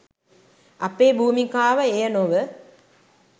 අපේ භූමිකාව එය නොව